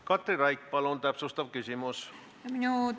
Katri Raik, palun täpsustav küsimus!